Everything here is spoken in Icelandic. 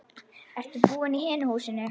Ertu búinn í hinu húsinu?